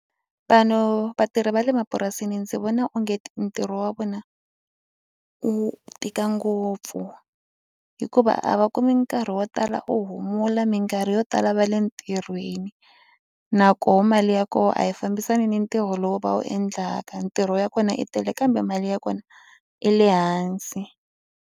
Vanhu vatirhi va le mapurasini ndzi vona onge ti ntirho wa vona wu tika ngopfu hikuva a va kumi nkarhi wo tala wo humula mikarhi yo tala va le ntirhweni nakoho mali ya koho a yi fambisani ni ntirho lowu va wu endlaka ntirho ya kona yi tele kambe mali ya kona i le hansi.